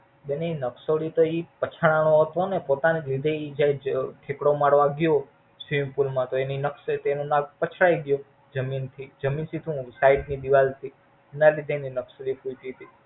બેન ઈ નકસોડી તો ઈ પછડાણો હતો ને પોતાની લીધે ઈ જયેજ થેકડો મારવા ગયો Swimming pool માં તો એની નકસોડી તો એનું નાક પછડાઇ ગયું જમીન થી જમીન થી શું Syed થી દીવાલ થી એના લીધે એની નકસોડી ફૂટી થી.